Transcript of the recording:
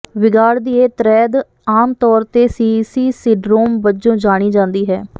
ਵਿਗਾੜ ਦੀ ਇਹ ਤ੍ਰੈਦ ਆਮ ਤੌਰ ਤੇ ਸੀਈਸੀ ਸਿਡਰੋਮ ਵਜੋਂ ਜਾਣੀ ਜਾਂਦੀ ਹੈ